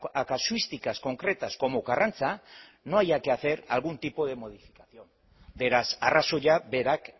a casuísticas concretas como karrantza no haya que hacer algún tipo de modificación beraz arrazoia berak